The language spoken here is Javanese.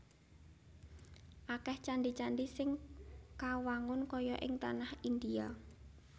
Akèh candhi candhi sing kawangun kaya ing tanah Indhia